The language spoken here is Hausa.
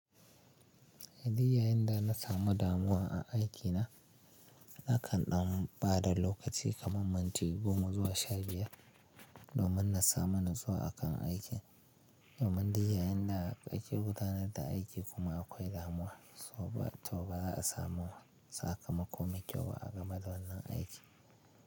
Idan yayinda na samu damuwa a aikina nakan ɗan bada lokaci kaman minti goma zuwa sha biyar domin na samu natsuwa akan aikin. Domin dai yayinda ake gudanar da aiki kuma akwai damuwa to ba za a samu sakamako mai kyau ba a game da wannan aiki.